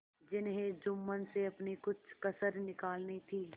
जिन्हें जुम्मन से अपनी कुछ कसर निकालनी थी